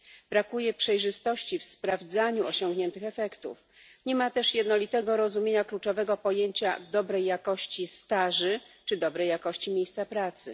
Brakuje przejrzystości w sprawdzaniu osiągniętych efektów, nie ma też jednolitego rozumienia kluczowego pojęcia dobrej jakości staży czy dobrej jakości miejsca pracy.